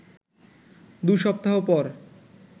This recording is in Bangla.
দু সপ্তাহ পর